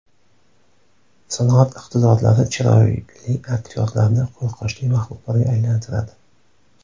Sanoat iqtidorlari chiroyli aktyorlarni qo‘rqinchli maxluqlarga aylantiradi.